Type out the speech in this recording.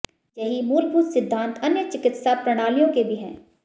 यही मूलभूत सिद्धांत अन्य चिकित्सा प्रणालियों के भी हैं